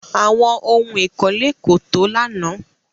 Àwọn ohún ìkọ́lé kò tó lánàá.